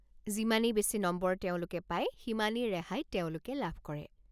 যিমানেই বেছি নম্বৰ তেওঁলোকে পায়, সিমানেই ৰেহাই তেওঁলোকে লাভ কৰে।